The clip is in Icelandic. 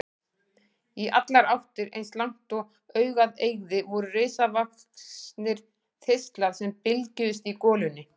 Í allar áttir, eins langt og augað eygði, voru risavaxnir þistlar sem bylgjuðust í golunni.